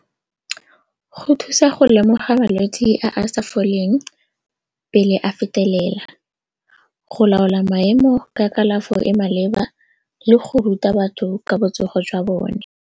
Go thusa go lemoga malwetse a a sa foleng pele a fetelela, go laola maemo ka kalafo e maleba le go ruta batho ka botsogo jwa bone.